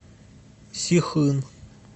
сихын